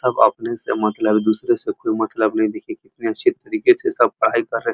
सब अपने से मतलब है दूसरे से कोई मतलब नहीं। देखिये कितने अच्छे तरीके से सब पढ़ाई कर रहे हैं।